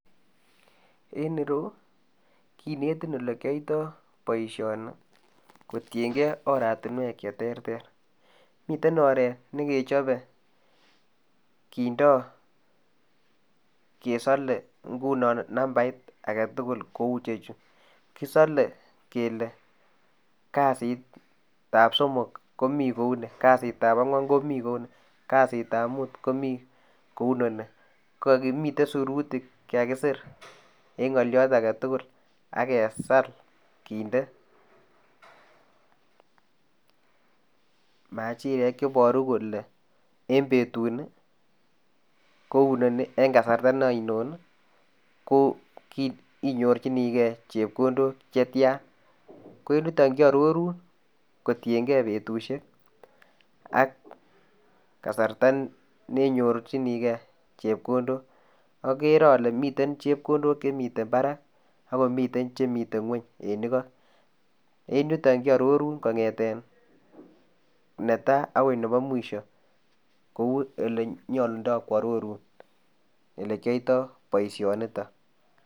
En ireyuu konetiin ole kyatoi boisioni kotienkei oratinweek che terter miten oret nekechape kindaa kesale ngunoo nambait age tugul kouu ichechii kisirei kele kazit ab somok komii kou nii, kazit ab angween komii kou nii kassit ab muut komii kounono miten sirutiik che kakisiir eng ngalyaat age tugul agesaal kindee majireek chebaruu kole en betuut ni ko inoni en kasarta aino ii ko inyorjinikei chepkondook chetyaan ko en yutoon kiaroruun kotienkei betusiek ak kasarta nenyorjinikei chepkondook agere ale miten chepkondook chemiten Barak ago amiten chemiten kweny en igoo en yutoon kiaroruun kongethen netai agoi nebo mwisho kouu ele nyaluundai kiaroruun ele kyatoi boisioni nitoon.